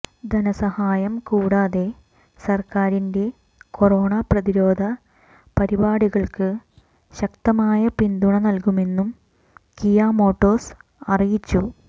ധനസഹായം കൂടാതെ സര്ക്കാരിന്റെ കൊറോണ പ്രതിരോധ പരിപാടികള്ക്ക് ശക്തമായ പിന്തുണ നല്കുമെന്നും കിയ മോട്ടോഴ്സ് അറിയിച്ചു